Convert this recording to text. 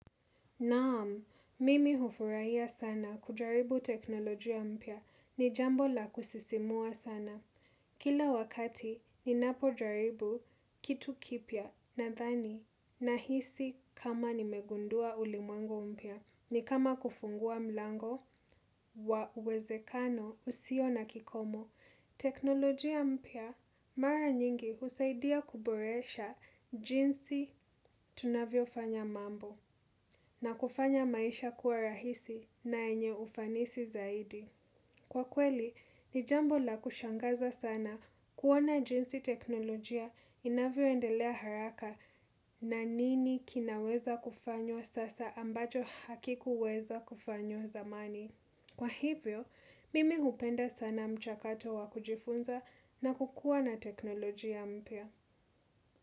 Naam, mimi hufurahia sana kujaribu teknolojia mpya ni jambo la kusisimua sana. Kila wakati ninapojaribu kitu kipya nadhani nahisi kama nimegundua ulimwengo mpya. Ni kama kufungua mlango wa uwezekano usio na kikomo. Teknolojia mpya mara nyingi husaidia kuboresha jinsi tunavyofanya mambo. Na kufanya maisha kuwa rahisi na yenye ufanisi zaidi. Kwa kweli, ni jambo la kushangaza sana kuona jinsi teknolojia inavyoendelea haraka na nini kinaweza kufanywa sasa ambacho hakikuweza kufanywa zamani. Kwa hivyo, mimi hupenda sana mchakato wa kujifunza na kukua na teknolojia mpya.